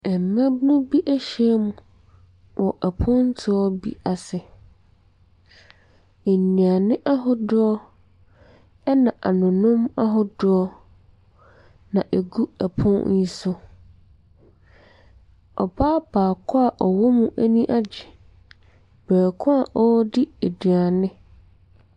Mmaabunu bi ahyiam wɔ apotoɔ bi ase. Nnuane ahodoɔ na anonom ahodoɔ na ɛgu pono ne so. Ɔbaa baako a ɔwɔ ani agye berekorɔ a ɔredi aduane.